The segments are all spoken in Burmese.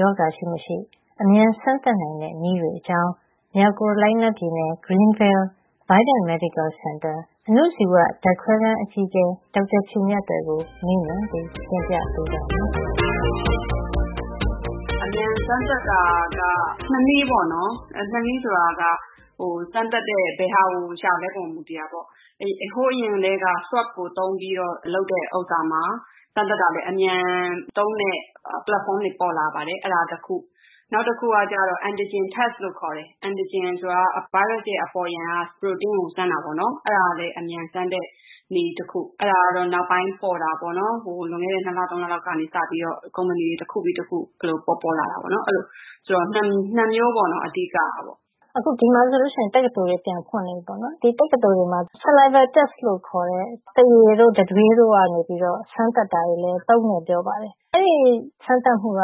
ရောဂါရှိမရှိ အမြန်စမ်းသပ်နိုင်တဲ့နည်းတွေ အကြောင်း မြောက်ကာရိုလိုင်းနားပြည်နယ် Greenville Vidant Medical Center ရဲ့ အဏုဇီဝ ဓါတ်ခွဲခန်းအကြီးအကဲ ဒေါက်တာဖြူမြတ်သွယ် ကို မေးမြန်းပြီး တင်ပြပေးပါမယ်။ “အမြန်စမ်းသပ်တာက ၂ နည်းပေါ့နော်။ ၂ နည်း ဆိုတာက စမ်းသပ်တဲ့ ဘယ်ဟာကို ရှာသလဲ ဆိုတာပေါ်မူတည်တာပေါ့။ ဟိုအရင်ကတည်းက swab အာခေါင်တို့ဖတ် ကိုသုံးပြီးရှာတဲ့ PCR ဥစ္စာမှာ စမ်းသပ်တာလည်း အမြန်သုံးတဲ့ ပလက်ဖေါင်းတွေ ပေါ်လာပါတယ်။ အဲဒါက တခု။ နောက်တခုကကျတော့ Antigen test လို့ ခေါ်တယ်။ Antigen. ဆိုတာက ဗိုင်းရပ်စ်ရဲ့ အပေါ်ယံက ပရိုတိန်းကို စမ်းတာပေါ့နော်။ အဲဒါကလည်း အမြန်စမ်းတဲ့ နည်းတခု။ အဲဒါကတော့ နောက်ပိုင်း ပေါ်တာပေါ့နော်။ လွန်ခဲ့တဲ့ ၂ လ - ၃ လလောက်က ကုမ္ပဏီတွေ တခုပြီး တခု ပေါ်လာတာ ပေါ့နော်။ အဲလို ၂ မျိုးပေါ့နော်။ အဓိကကတော့။ “အခု ဒီမှာတက္ကသိုလ်တွေ ပြန်ဖွင့်နေပြီပေါ့နော်။ ဒီတက္ကသိုလ်တွေမှာ saliva test လို့ခေါ်တဲ့ သွားရည်တို့ တံတွေးတို့ကနေပြီးတော့ စမ်းသပ်တာတွေလည်း သုံးတယ် ပြောပါတယ်။ အဲဒီစမ်းသပ်မှုက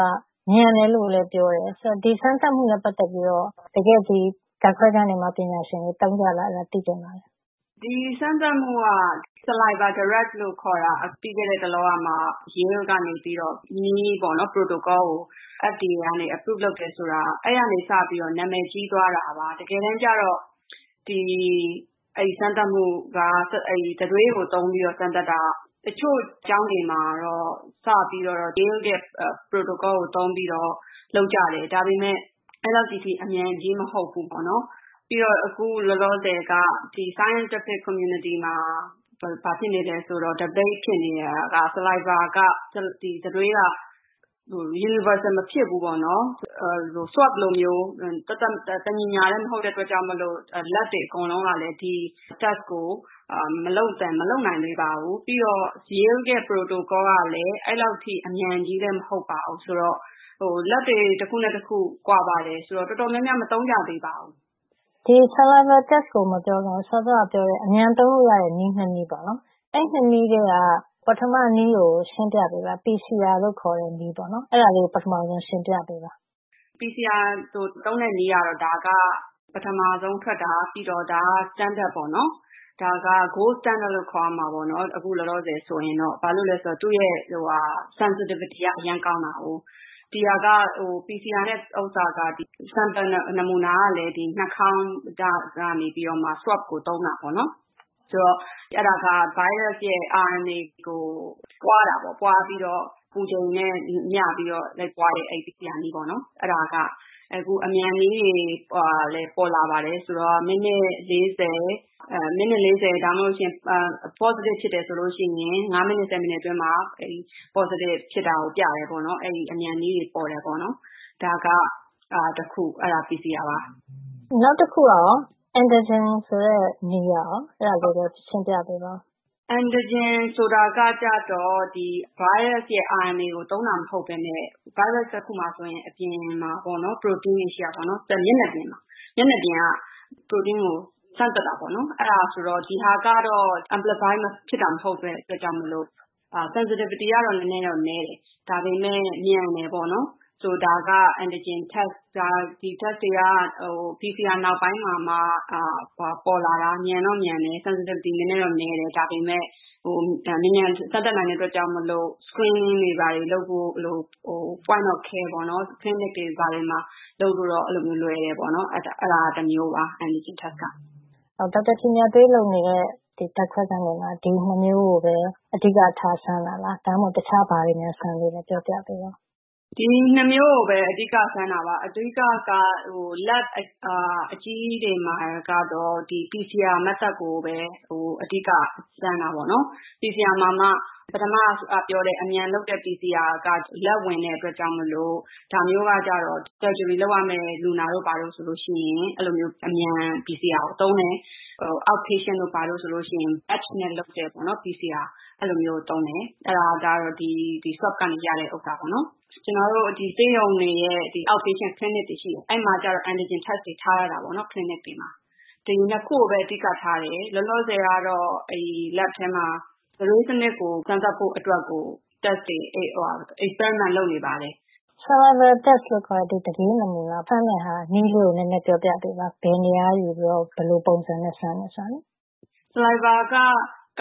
မြန်တယ်လို့လည်း ပြောပါတယ်။ အဲဒီ စမ်းသပ်မှုနဲ့ ပတ်သက်ပြီးတော့ တကယ့် ဒီမှာ ဓါတ်ခွဲခန်းမှာပညာရှင်တွေ သုံးကြသလား သိချင်ပါတယ်။ “ဒီစမ်းသပ်မှုက Saliva direct လို့ခေါ်တာ - ဒါပြီးခဲ့တဲ့တလောကမှာ Yale တက္ကသိုလ်က နေပြီးတော့ နည်း - protocol ကို FDA ကနေapproved လုပ် အတည်ပြုပေးတယ် ဆိုတာပါ။ အဲဒီကနေပြီးတော့ နံမယ်ကြီးသွားတာပါ။ တကယ်တမ်းကျတော့ ဒီစမ်းသပ်မှု တံတွေးကို သုံးပြီးတော့ စမ်းသပ်မှုက တချို့ ကျောင်းတွေမှာတော့ Yale ရဲ့ နည်း - Protocol ကို သုံးပြီးတော့ လုပ်ကြတယ်။ ဒါပေမယ့် အဲဒီလောက် ကြီး အမြန်ကြီးတော့ မဟုတ်ဖူးပေါ့နော်။ ပြီးတော့ အခု လောလောဆယ်က ဒီ scientific community သိပ္ပံဆိုင်ရာ အသိုင်းအဝိုင်းမှာ အခြေအတင် ပြောနေကြတာက ဒီ တံတွေးက universal မဖြစ်ဖူး ပေါ့နော်။ Swab အာခေါင်တု့ိဖတ် လိုမျိုး သပ်သပ်မှတ်မှတ် တညီတညာထည်း မဟုတ်တဲ့ အတွက်ကြောင့် မို့လို့ ဓါတ်ခွဲခန်းတွေ အားလုံးကလည်း ဒီစမ်းသပ်မှု tests ကို မလုပ်နိုင်သေးပါဘူး။ နောက် Yale ရဲ့ နည်း - Protocol က လည်း ဒီလောက် အမြန်ကြီးမဟုတ်ပါဘူး။ ဆိုတော့ ဓါတ်ခွဲခန်းတွေ တခုနဲ့ တခု ကွာပါတယ်။ ဆိုတော့ တော်တော်များများ မသုံးကြသေးပါဘူး။” “ဒီ တံတွေးနဲ့ စမ်းသပ်တာအတွက် မပြောခင် စောစောက ပြောတဲ့ အမြန်သုံးလို့ရတဲ့ နည်း ၂ နည်း ပေါ့နော်။ အဲဒီ ၂ နည်းထဲက ပထမနည်း ကို ရှင်းပြပေးပါ။ PCR လို့ခေါ်တဲ့ နည်းကို ရှင်းပြပေးပါ။” “ PCR ကို သုံးတဲ့နည်းကတော့ ပထမဆုံးထွက်တာ။ ပြီးတော့ ဒါက standard ပေါ့နော်။ gold standard အကောင်းဆုံးစံ လို့ ခေါ်ရမှာပေါ့။ အခုလောလောဆယ် ဆိုရင်တော့။ ဘာဖြစ်လို့လည်း ဆိုတော့ သူ့ရဲ့ sensitivity တိကျမှုက အရမ်းကောင်းတာကိုး။ PCR နဲ့စမ်းတဲ့ sample နမူနာ ကလည်း နှာခေါင်းကနေ ယူတဲ့ swab အာခေါင်တို့ဖတ်ကို ယူတာပေါ့နော်။ အဲဒါက ဗိုင်းရပ်စ်ရဲ့ RNA ကို ပွါးတာပေါ့။ ပွါးပြီးတော့ အပူချိန်နဲ့ လိုက်ပြီး ပွါးတဲ့ PCR နည်းပေါ့နော်။ အဲဒါက အမြန်နည်းတွေ ပေါ်လာပါတယ်။ မိနစ် ၄၀၊ တကယ်လို့ ပိုးရှိတယ် positive ဖြစ်တယ်ဆိုရင် ၅ မိနစ် ၁၀ မိနစ် အတွင်းမှာ positive ဖြစ်တာကို ပြတယ်ပေါ့နော်။ အဲဒီ အမြန်နည်းတွေ ပေါ်လာပါတယ်။ ဒါကတခု။ အဲဒါ PCR ပါ။” “နောက်တခုကကော။ antigen ဆိုတဲ့နည်း အဲဒါလည်း ရှင်းပြပေးပါ။” “ Antigen ဆိုတာက ကျတော့ ဗိုင်းရပ်စ်ရဲ့ RNA ကို သုံးတာ မဟုတ်ပဲနဲ့ ဗိုင်းရပ်စ် တခုမှာ ဆိုရင် အပြင်မှာ ပေါ့နော်။ ပရိုတိန်းတွေ ရှိတာပေါ့နော်။ သူက မျက်နှာပြင်က ပရိုတိန်းကို စမ်းသပ်တာပေါ့နော်။ ဒီဟာကတော့ amplified ဖြစ်တာ မဟုတ်တဲ့ အတွက်ကြောင့် sensitivity တိကျမှုကတော့ နဲနဲတော့ နည်းတယ်။ ဒါပေမယ့် မြန်တယ် ပေါ့နော်။ ဒါကAntigen test ။ ဒါက PCR နောက်ပိုင်းမှာမှ ပေါ်လာတာ။ မြန်တော့မြန်တယ် တိကျမှုတော့ နဲနဲ နည်းတယ်။ ဒါပေမယ့်လို့ မြန်မြန်စမ်းသပ်နိုင်တဲ့ အတွက်ကြောင့်မို့လို့ screening တွေ ဘာတွေလုပ်ဖို့ ၊point of care ပေါ့နော်။ clinic တွေ ဘာတွေမှာ လုပ်လို့တော့ အဲဒီလိုမျိုး လွယ်တယ်။ အဲဒါက တမျိုးပါ။ Antigen test ပါ။” “ဒေါက်တာဖြူမြတ်သွယ်တို့ ဓါတ်ခွဲခန်းတွေမှာ ဒီ ၂ မျိုးကိုပဲ အဓိက ထား စမ်းတာလား။ တခြားဘာနည်း စမ်းသပ်လဲ ပြောပြပေးပါ။” “ဒီ ၂ မျိုးကိုပဲ အဓိက စမ်းတာပါ။ အဓိကက ဓါတ်ခွဲခန်း အကြီးကြီးတွေမှာ ကတော့ ဒီ PCR နည်းကိုပဲ အဓိက စမ်းတာပေါ့နော်။ PCR မှာမှ ပထမပြောတဲ့ အမြန်လုပ်တဲ့ PCR က လက်ဝင်တဲ့ အတွက်ကြောင့်မို့လို့ ခွဲစိတ်ရမယ့် surgery လုပ်ရမယ့် လူနာတို့ဘာတို့ ဆိုရင် အမြန် PCR ကိုသုံးတယ်။ out patient ပြင်ပလူနာ တို့ဘာတို့ ဆိုရင် batch နဲ့လုပ်တဲ့ PCR ။ အဲဒါကတော့ ဒီ swab ကရတဲ့ နမူနာကို သုံးတယ်။ ကျနော်တို့ ဒီဆေးရုံတွေရဲ့ out patient clinic ပြင်ပလူနာဌာန တွေ ရှိတယ်။ အဲဒီမှာတော့ Antigen test တွေ ထားထားတာ ပေါ့နော် clinic တွေမှာ။ ဒီ ၂ ခုကိုပဲအဓိက ထားတယ်။ လောလောဆယ်ကတော့ အဲဒီ lab ထဲမှာ တံတွေးစံနစ်ကို စမ်းသပ်ဖို့ အတွက်ကို experiment စမ်းသပ်မှုတွေ လုပ်နေပါတယ်။” “Saliva test လို့ခေါ်တဲ့ တံတွေးနမူနာစမ်းတဲ့ နည်းလေးကို ပြောပြပေးပါ။ ဘယ်နေရာက နမူနာယူပြီးတော့ ဘယ်လိုပုံစံနဲ့ စမ်းတယ်ဆိုတာ” “Saliva နည်းက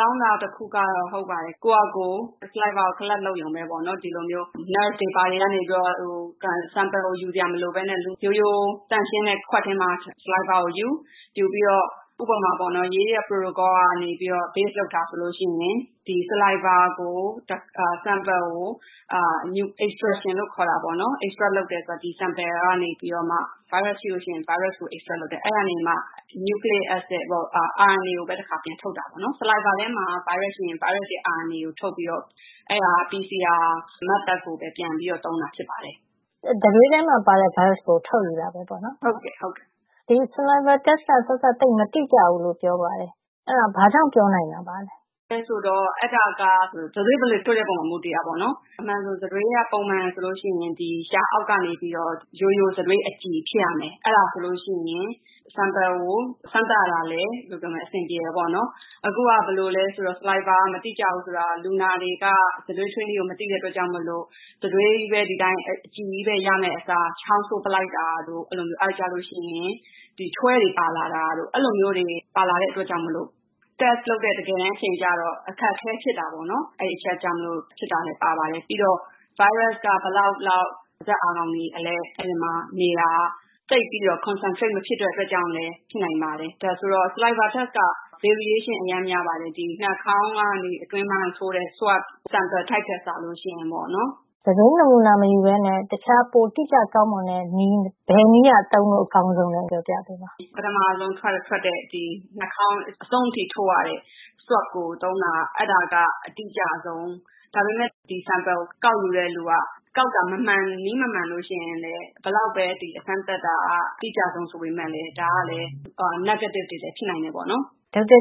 ကောင်းတာ တခုကတော့ ကိုယ့်ဟာကိုယ် တံတွေးကို collect လုပ်ရုံ - စုပေးရုံပဲ ပေါ့နော်။ lab ဓါတ်ခွဲခန်းတွေ ဘာတွေကနေ ပြီးတော့ နမူနာ sample ကို ယူစရာမလိုပဲနဲ့ ရိုးရိုး သန့်ရှင်းတဲ့ ခွက်ထဲမှာ တံတွေးကိုယူ။ ယူပြီးတော့ ဥပမာ - Yale Protocol ရဲ့ နည်းနဲ့ အခြေခံပြီး ယူတာဆိုလို့ရှိရင် ဒီ တံတွေးနမူနာကိုextraction လို့ ခေါ်တာပေါ့နော်။ extract လုပ်တယ် ဆိုတာ ဒီ နမူနာကနေပြီးတော့ ဗိုင်းရပ်စ်ရှိရင် ဗိုင်းရပ်စ်ကို extract လုပ်တယ် ထုတ်ယူတယ်။ အဲဒီကနေမှ နျူကလီရစ် အက်ဆစ် ၊ RNA ကိုပဲ တခါ ပြန်ထုတ်တာပေါ့နော်။ တံတွေးထဲမှာRNA ရှိရင် ဗိုင်းရပ်စ်ရဲ့ RNA ကိုပဲ ထုတ်ပြီးတော့ အဲဒါကို PCR methods နည်းကိုပဲ ပြန်သုံးတာဖြစ်ပါတယ်။” “တံတွေးထဲမှာ ပါတဲ့ ဗိုင်းရပ်စ်ကို ထုတ်ယူတာပဲ ပေါ့နော်။” “ဟုတ်တယ်။ ဟုတ်ပါတယ်။” “ဒီ တံတွေးနမူနာယူတာက သိပ်ပြီးတော့ မတိကျဘူးလို့ ပြောတာ အဲဒါ ဘာကြောင့် ပြောနိုင်တာပါလဲ။” “ဘာလို့လည်း ဆိုတော့ အဲဒါက တံတွေး ဘယ်လိုထွေးလဲ ဆိုတာပေါ် မူတည်ပါတယ်။ အမှန်ဆို တံတွေးက ပုံမှန်ဆိုရင် ဒီ လ ျှာအောက်ကနေပြီးတော့ ရိုးရိုး တံတွေးအကြည်ဖြစ်ရမယ်။ အဲဒါ ဆိုလို့ရှိရင် sample ကိုစမ်းသပ်ရတာကလည်း အဆင်ပြေတယ် ပေါ့နော်။ အခုက တံတွေးက မတိကျဘူး ဆိုတာက လူနာတွေက တံတွေး ထွေးနည်းကို မသိတဲ့ အတွက်ကြောင့်မို့လို့ တံတွေးချည်းပဲ ဒီအတိုင်း အကြည်ချည်းပဲ ရရမယ့် အစား ချောင်းဆိုးပလိုက်တာတို့၊ အဲဒီလိုမျိုး။ အဲဒီအခါကျလို့ရှိရင် ချွဲတွေ ပါလာတာတို့ အဲဒီလိုမျိုးတွေ ပါလာတဲ့ အတွက်ကြောင့် test စစ်ဆေးမှု လုပ်တဲ့ တကယ်တမ်းအချိန် ကျတော့ အခက်အခဲ ဖြစ်တာပေါ့။ အဲဒီအချက်ကြောင့်မို့လို့ဖြစ်တာလဲ ပါပါတယ် ပေါ့နော်။ ပြီးတော့ ဗိုင်းရပ်စ်က ဘယ်လောက်လောက် ပါးစပ်အာခေါင်မှာ နေလဲ၊ အဲဒီမှာ နေတာက သိပ်ပြီးတော့concentrate မဖြစ်တဲ့ အတွက်ကြောင့်လည်း ဖြစ်နိုင်ပါတယ်။ ဒါဆိုတော့ saliva test က variation အရမ်း များပါတယ်။ ဒီ နှာခေါင်းကနေ အတွင်းပိုင်းကို ထိုးတဲ့ swab sample အာခေါင်တို့ဖတ် နမူနာ ထက် စာလို့ ရှိရင်ပေါ့နော်။” “တံတွေးနမူနာ မယူပဲနဲ့ တခြား ပိုတိကျကောင်းမွန်တဲ့နည်း ဘယ်နည်းက သုံးလို့ အကောင်းဆုံးလည်း ပြောပြပေးပါ။” “ပထမဆုံး ထွက်တဲ့ ဒီနှာခေါင်း အဆုံးအထိထိုးယူရတဲ့ swab နှာခေါင်းတို့ဖတ် ကိုသုံးတာက အတိကျဆုံး။ ဒါပေမယ့် ဒီ sample ကို ကောက်ယူတဲ့လူက ကောက်တာနည်းမမှန် လို့ရှိရင် ဘယ်လောက်ပဲ စမ်းသပ်တာက တိကျဆုံး ဆိုပေမယ့်လည်း ဒါက ပိုးမတွေ့တဲ့ negative တွေလည်း ဖြစ်နိုင်တယ် ပေါ့နော်။” ဒေါက်တာ